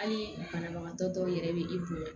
Hali banabagatɔ dɔw yɛrɛ bɛ i bonya